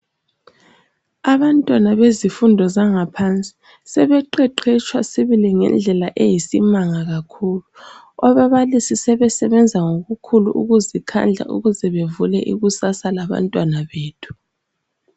Abantwana bezifundo zangaphansi sebeqeqetshwa ngendlela eyisimanga kakhulu. Ababalisi sebesebenza ngokukhulu ukuzikhandla ukuze bevule ikusasa labantwana bethu.